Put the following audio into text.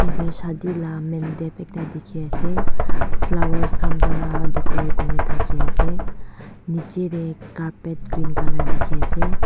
shadi la man deb ekta dikhi ase flowers khan para decorate kurina thaki ase niche tey carpet green colour dikhi ase.